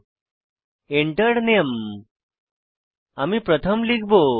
Enter Name আমি প্রথম লিখব